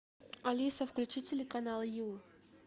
алиса включи телеканал ю